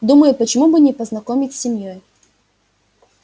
думаю почему бы не познакомить с семьёй